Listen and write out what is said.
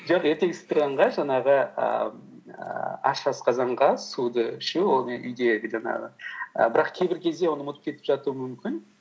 жоқ ертеңгісін тұрғанға жаңағы ііі аш асқазанға суды ішу ол не үйдегі жаңағы і бірақ кейбір кезде оны ұмытып кетіп жатуым мүмкін